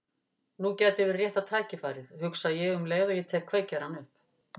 Nú gæti verið rétta tækifærið, hugsa ég um leið og ég tek kveikjarann upp.